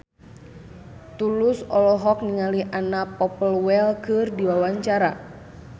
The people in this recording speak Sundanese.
Tulus olohok ningali Anna Popplewell keur diwawancara